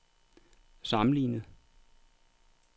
sammenlignet